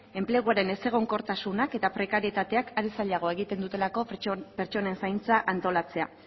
enpleguaren ezegonkortasunak eta prekaritateak are zailagoa egiten dutelako pertsonen zaintza antolatzea